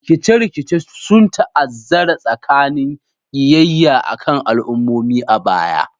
Rikice-rikice sun ta'azzara tsananin kiyayya a kan al'ummomi a baya.